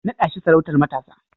Naɗa shi sarautar matasa!